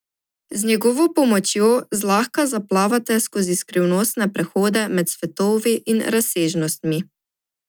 Z njegovo pomočjo zlahka zaplavate skozi skrivnostne prehode med svetovi in razsežnostmi.